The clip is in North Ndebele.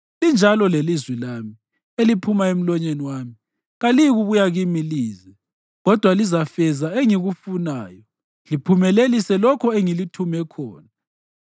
linjalo lelizwi lami eliphuma emlonyeni wami: kaliyikubuya kimi lize, kodwa lizafeza engikufunayo liphumelelise lokho engilithume khona.